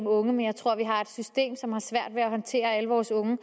unge men jeg tror vi har et system som har svært ved at håndtere alle vores unge